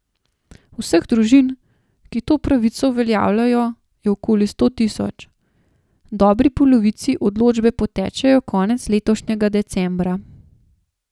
Vseh družin, ki to pravico uveljavljajo, je okoli sto tisoč, dobri polovici odločbe potečejo konec letošnjega decembra.